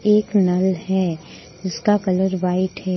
एक नल है जिसका कलर व्हाइट है।